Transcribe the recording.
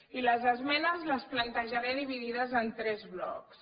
i les esmenes les plantejaré dividides en tres blocs